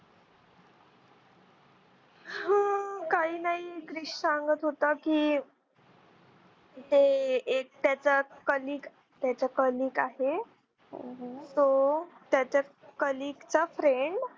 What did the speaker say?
हा काही नाही क्रिश सांगत होता की हे एक त्याचा कलिक त्याचा कलिक आहे तू तो त्याच्या कलिकचा friend